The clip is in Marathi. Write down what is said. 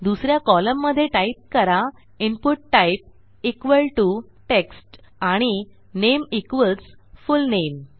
दुस या कॉलममधे टाईप करा input type equal to text आणि नामे इक्वॉल्स फुलनेम